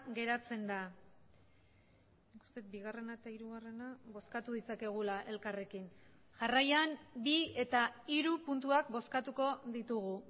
geratzen da uste dut bigarrena eta hirugarrena bozkatu ditzakegula elkarrekin jarraian bi eta hiru puntuak bozkatuko ditugu